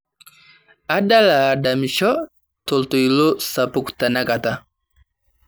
adala adamisho toltoilo sapuk tenakata